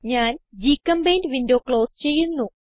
ഞാൻ ഗ്ചെമ്പെയിന്റ് window close ചെയ്യുന്നു